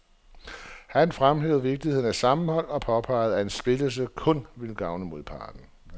Han fremhæver vigtigheden af sammenhold og påpeger, at en splittelse kun vil gavne modparten.